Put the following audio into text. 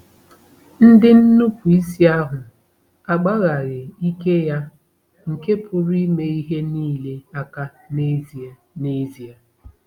Ndị nnupụisi ahụ agbaghaghị ike ya nke pụrụ ime ihe nile aka n'ezie. n'ezie.